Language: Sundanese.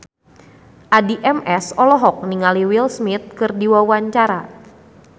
Addie MS olohok ningali Will Smith keur diwawancara